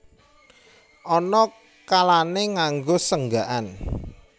Ana kalané nganggo senggakan